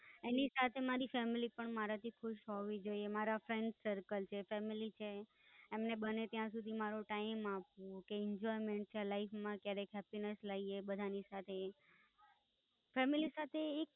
એની સાથે મારી Family પણ મારાંથી ખુશ હોવી જોઈએ, મારા Friends Circle જે Family છે એમને બને ત્યાં સુધી મારો Time આપવો, કે Enjoyment છે Life માં ક્યારેક Happiness લાવીએ બધાની સાથે, Family સાથે એક.